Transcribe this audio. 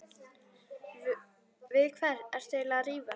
Við hvern ertu eiginlega að rífast?